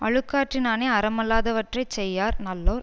அழுக்காற்றினானே அறமல்லாதவற்றைச் செய்யார் நல்லோர்